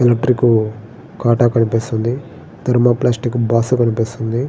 Electric కాటా కనిపిస్తున్నది. Thermoplastic box కనిపిస్తున్నది.